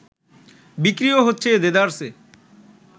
বিক্রিও হচ্ছে দেদারসে